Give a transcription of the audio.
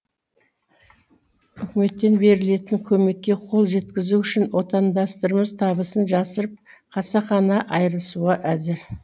үкіметтен берілетін көмекке қол жеткізу үшін отандастарымыз табысын жасырып қасақана айырылысуға әзір